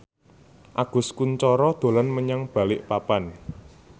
Agus Kuncoro dolan menyang Balikpapan